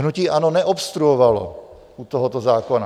Hnutí ANO neobstruovalo u tohoto zákona.